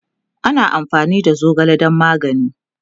ana amfani da zogale dan magani